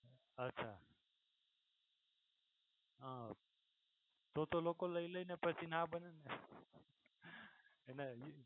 અચ્છા તો તો લોકો લઈ લઈ ને પછી ના બને ને અને